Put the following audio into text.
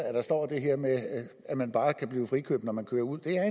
at der står det her med at man bare kan blive frikøbt når man kører ud det her